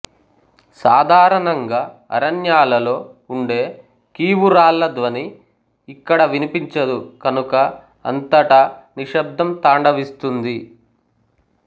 సాధారణంగా అరణ్యాలలో ఉండే కీవురాళ్ళ ధ్వని ఇక్కడ వినిపించదు కనుక అంతటా నిశ్శబ్ధం తాండవిస్తుంది